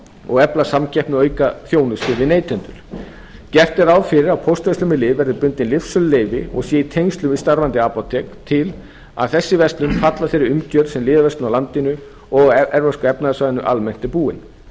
og efla samkeppni og auka þjónustu við neytendur gert er ráð fyrir að póstverslun með lyf verði bundin lyfsöluleyfi og sé í tengslum við starfandi apótek til þess að þessi verslun falli að þeirri umgjörð sem lyfjaverslun í landinu og á evrópska efnahagssvæðinu almennt er búin